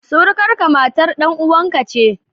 Surukarka, matar dan uwanka ce